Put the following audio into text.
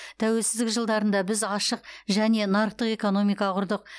тәуелсіздік жылдарында біз ашық және нарықтық экономика құрдық